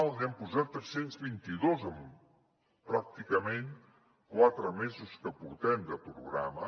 n’hem posat tres cents i vint dos en pràcticament quatre mesos que portem de programa